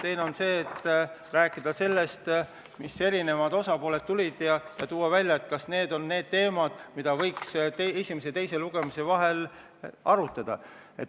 Teine võimalus on rääkida sellest, mis eri osapooled välja tõid, ja arutada, kas need on teemad, mida võiks esimese ja teise lugemise vahel arutada.